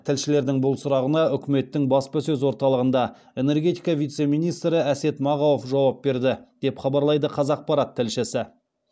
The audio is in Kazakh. тілшілердің бұл сұрағына үкіметтің баспасөз орталығында энергетика вице министрі әсет мағауов жауап берді деп хабарлайды қазақпарат тілшісі